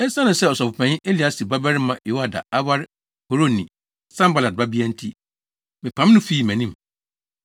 Esiane sɛ ɔsɔfopanyin Eliasib babarima Yoiada aware Horonni Sanbalat babea nti, mepam no fii mʼanim.